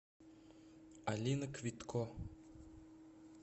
алина квитко